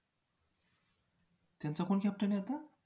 त्यांचा कोण captain आहे आता?